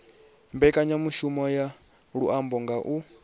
mbekanyamaitele ya luambo nga u